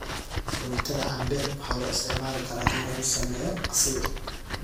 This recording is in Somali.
Fruitada cambe waxaa loo isticmaali karaa in lagu sameeyo casiir.